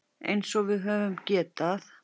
Eins og við höfum getað.